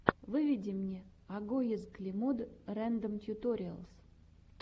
выведи мне агоез клемод рэндом тьюториалс